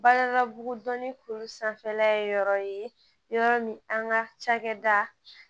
Baaradabugudonin kuru sanfɛla ye yɔrɔ ye yɔrɔ min an ka cakɛda